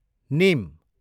निम